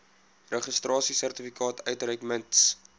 registrasiesertifikaat uitreik mits